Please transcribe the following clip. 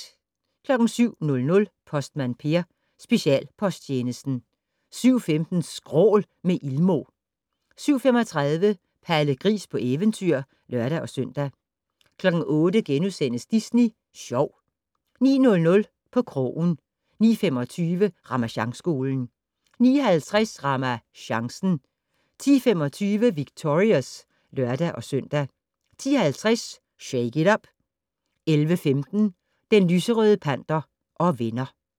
07:00: Postmand Per: Specialposttjenesten 07:15: Skrål - med Ilmo 07:35: Palle Gris på eventyr (lør-søn) 08:00: Disney Sjov * 09:00: På krogen 09:25: Ramasjangskolen 09:50: RamaChancen 10:25: Victorious (lør-søn) 10:50: Shake it up! 11:15: Den lyserøde panter og venner